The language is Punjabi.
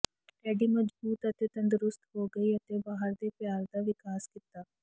ਟੈਡੀ ਮਜਬੂਤ ਅਤੇ ਤੰਦਰੁਸਤ ਹੋ ਗਈ ਅਤੇ ਬਾਹਰ ਦੇ ਪਿਆਰ ਦਾ ਵਿਕਾਸ ਕੀਤਾ